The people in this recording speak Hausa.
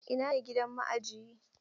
Ina ne gidan ma'ajiyi?